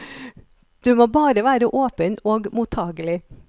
Du må bare være åpen og mottagelig.